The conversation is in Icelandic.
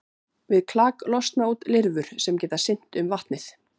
Við klak losna út lirfur sem geta synt um vatnið.